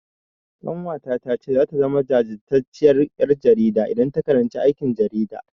Ƙanwata ta ce zata zama jajirtacciyar ƴar jarida idan ta karanci aikin jarida.